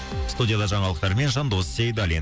студияда жаңалықтармен жандос сейдалин